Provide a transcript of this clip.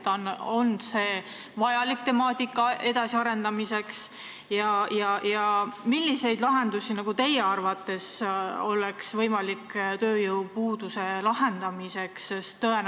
On see vajalik temaatika edasiarendamiseks ja millised lahendused oleks teie arvates tööjõupuuduse vähendamiseks võimalikud?